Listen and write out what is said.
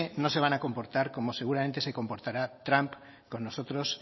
no se van a comportar como seguramente se comportará trump con nosotros